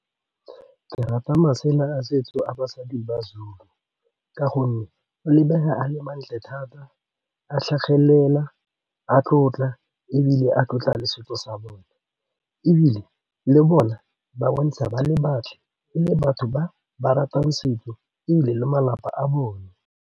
Ke rata masela a setso a basadi ba-Zulu ka gonne a lebega a le mantle thata, a tlhagelela, a tlotla ebile a tlotla le setso sa bone ebile le bone ba bontsha ba le bantle e le batho ba ba ratang setso ebile le malapa a bone.